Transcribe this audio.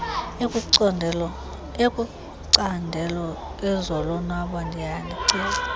ekumacandelo ezolonwabo ndiyanicela